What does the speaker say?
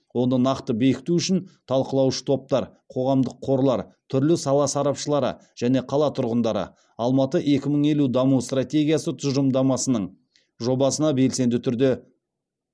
оны нақты бекіту үшін талқылауыш топтар қоғамдық қорлар түрлі сала сарапшылары және қала тұрғындары алматы екі мың елу даму стратегиясы тұжылымдамасының жобасына белсенді түрде